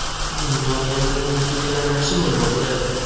Buning oqibatida natijalar yaxshi bo‘lmoqda.